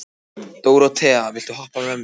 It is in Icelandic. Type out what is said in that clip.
Dóróþea, viltu hoppa með mér?